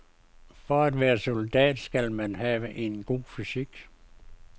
For at være soldat skal man have en god fysik.